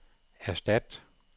erstat